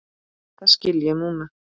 Það skil ég núna.